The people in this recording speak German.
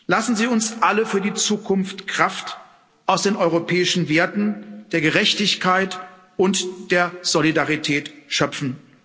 Lassen Sie uns alle für die Zukunft Kraft aus den europäischen Werten der Gerechtigkeit und der Solidarität schöpfen.